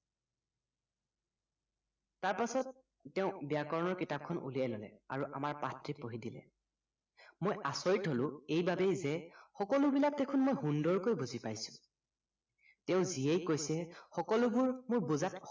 তাৰপাছত তেওঁ ব্য়াকৰণৰ কিতাপখন উলিয়াই ললে আৰু আমাৰ পাঠটি পঢ়ি দিলে মই আচৰিত হলো এইবাবেই যে সকলোবিলাক দেখুন মই সুন্দৰকৈ বুজি পাইছো তেওঁ যিয়েই কৈছে সকলোবোৰ মোৰ বুজাত